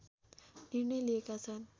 निर्णय लिएका छन्